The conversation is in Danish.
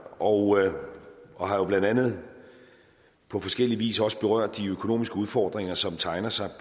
og og har jo blandt andet på forskellig vis også berørt de økonomiske udfordringer som tegner sig